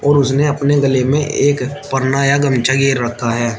उसने अपने गले में एक पन्ना या गमछा रखा है।